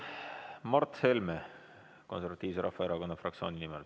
Mart Helme Eesti Konservatiivse Rahvaerakonna fraktsiooni nimel.